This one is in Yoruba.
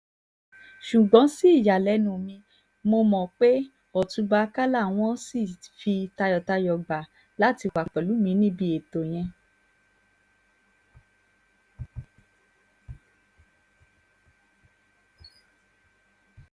ṣùgbọ́n sí ìyàlẹ́nu mi mọ̀ pé ọ̀túnba àkàlà wọn ṣì fi tayọ̀tayọ̀ gbà láti wàá pẹ̀lú mi níbi ètò yẹn